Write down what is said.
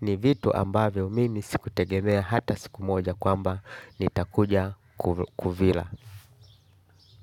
Ni vitu ambavyo mimi sikutegemea hata siku moja kwamba nitakuja kuvila.